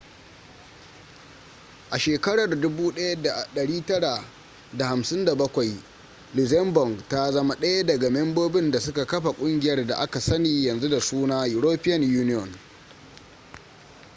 a shekarar 1957 luxembourg ta zama ɗaya daga membobin da suka kafa ƙungiyar da aka sani yanzu da suna european union